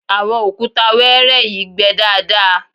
àwọn òkúta wẹ́ẹ́rẹ́ yìí gbẹ daadaa